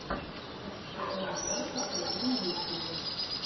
эр си эл бьюти сто один на ютьюбе